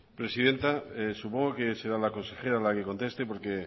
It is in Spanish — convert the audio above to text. presidenta supongo que será la consejera la que conteste porque